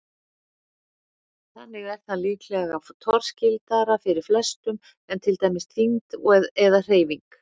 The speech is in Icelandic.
Þannig er það líklega torskildara fyrir flestum en til dæmis þyngd eða hreyfing.